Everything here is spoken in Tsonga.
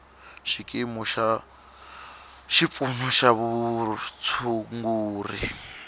xikimu xa xipfuno xa vutshunguri